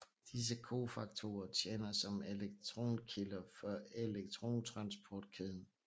Disse cofaktorer tjener som elektronkilder for elektrontransportkæden